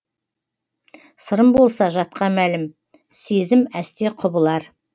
сырым болса жатқа мәлім сезім әсте құбылар